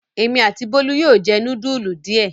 Èmi àti Bólú yóò jẹ núdúlù díẹ̀.